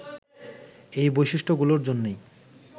এই বৈশিষ্ট্যগুলোর জন্যই